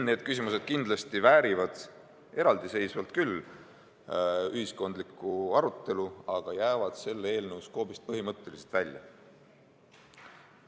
Need küsimused kindlasti väärivad eraldiseisvalt küll ühiskondlikku arutelu, aga jäävad selle eelnõu skoobist põhimõtteliselt välja.